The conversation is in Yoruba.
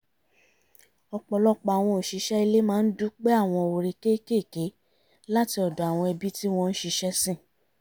ọ̀pọ̀lọpọ̀ àwọn òṣìṣẹ́ ilé máa ń dúpẹ́ àwọn oore kékékèé láti ọ̀dọ̀ àwọn ẹbí tí wọ́n ń ṣiṣẹ́ sìn